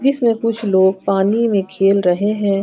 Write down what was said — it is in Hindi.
इसमें कुछ लोग पानी में खेल रहे हैं।